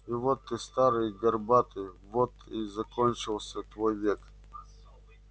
и вот ты старый и горбатый вот и закончился твой век